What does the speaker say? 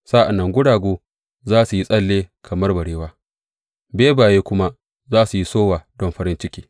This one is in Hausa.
Sa’an nan guragu za su yi tsalle kamar barewa, bebaye kuma su yi sowa don farin ciki.